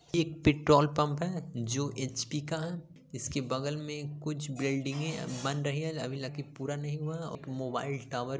एक petrol pump है जो एच _पि का है | इसके बगल में कुछ बिल्डिंगे बन रही है अभी लगता है की पूरा नहीं हुआ और एक मोबाइल टावर --